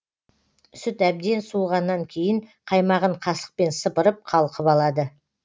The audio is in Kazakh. сүт әбден суығаннан кейін қаймағын қасықпен сыпырып қалқып алады